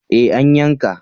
Eh an yanka